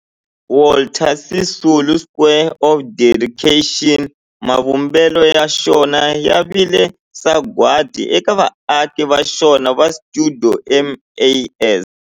Walter Sisulu Square of Dedication, mavumbelo ya xona ya vile sagwadi eka vaaki va xona va stuidio MAS.